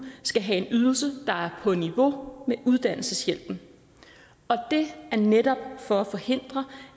skal have en ydelse der er på niveau med uddannelseshjælpen og det er netop for at forhindre